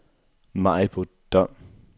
Maribo Dom